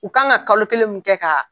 U kan ka kalo kelen mun kɛ ka